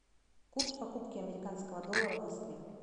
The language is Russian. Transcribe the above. курс покупки американского доллара в москве